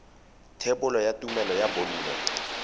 thebolo ya tumelelo ya bonno